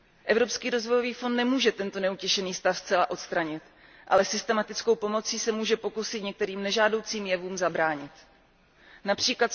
Evropský rozvojový fond nemůže tento neutěšený stav zcela odstranit, ale systematickou pomocí se může pokusit některým nežádoucím jevům zabránit, např.